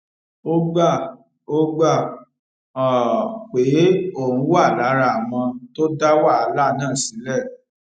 ó gbà ó gbà um pé òun wà lára àwọn tó dá wàhálà náà sílè